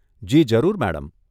જી, જરૂર, મેડમ.